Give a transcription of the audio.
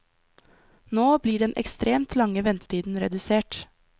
Nå blir den ekstremt lange ventetiden redusert.